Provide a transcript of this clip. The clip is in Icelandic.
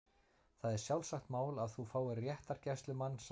Það er sjálfsagt mál að þú fáir réttargæslumann- sagði